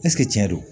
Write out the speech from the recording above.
tiɲɛ don